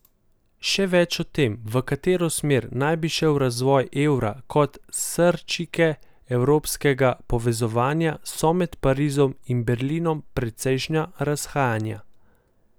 Še več, o tem, v katero smer naj bi šel razvoj evra kot srčike evropskega povezovanja, so med Parizom in Berlinom precejšnja razhajanja.